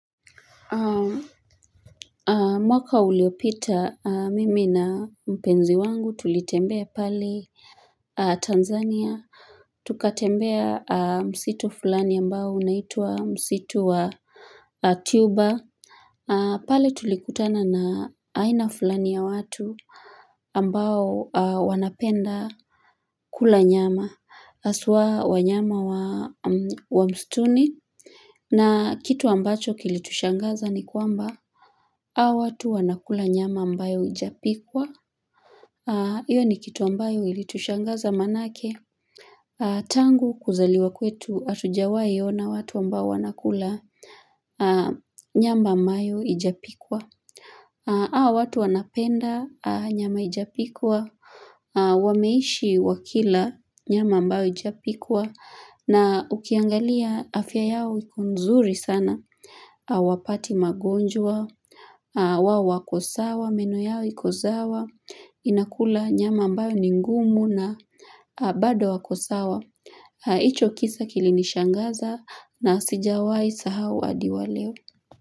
Mwaka uliopita mimi na mpenzi wangu tulitembea pale Tanzania Tukatembea msitu fulani ambao unaitwa msitu wa Tuba pale tulikutana na aina fulani ya watu ambao wanapenda kula nyama haswa wanyama wa msituni na kitu ambacho kilitushangaza ni kwamba Hawa watu wanakula nyama ambayo haijapikwa, hiyo ni kitu ambayo ilitushangaza maanake, tangu kuzaliwa kwetu hatujawai ona watu ambao wanakula nyama ambayo haijapikwa, hawa watu wanapenda nyama haijapikwa, wameishi wakila nyama ambayo haijapikwa, na ukiangalia afya yao iko nzuri sana, hawapati magonjwa, wao wako sawa, meno yao iko sawa, inakula nyama ambayo ni ngumu na bado wako sawa. Hicho kisa kilinishangaza na sijawahi sahau hadi wa leo.